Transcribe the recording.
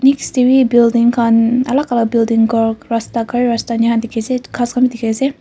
Next dae bhi building khan alak alak building khan rasta gari rasta enya dekhe ase ghas khan bhi dekhe ase.